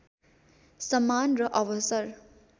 सम्मान र अवसर